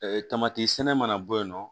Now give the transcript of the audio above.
tamati sɛnɛ mana bɔ yen nɔ